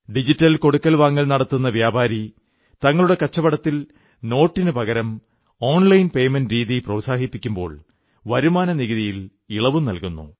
digital കൊടുക്കൽവാങ്ങൽ നടത്തുന്ന വ്യാപാരി തങ്ങളുടെ കച്ചവടത്തിൽ നോട്ടിനു പകരം ഓൺലൈൻ പേയ്മെന്റ് രീതി പ്രോത്സാഹിപ്പിക്കുമ്പോൾ വരുമാന നികുതിയിൽ ഇളവും നല്കുന്നു